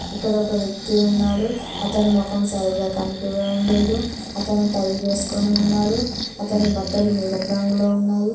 ఇక్కడ ఒక వ్యక్తి ఉన్నాడు అతని మొఖం సరిగా కనిపివ్వడం లేదు అతను టై వేసుకొని ఉన్నాడు అతని బట్టలు నీలపు రంగులో ఉన్నాయి.